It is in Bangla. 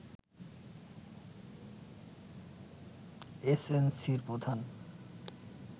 এসএনসি’র প্রধান